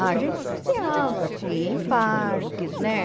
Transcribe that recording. A gente passeava, assim, em parques, né?